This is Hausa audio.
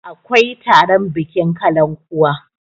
akwai taron bikin kalan kuwa